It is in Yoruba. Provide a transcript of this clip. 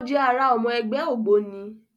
O jẹ àrà ọmọ ẹgbẹ́ ògbóni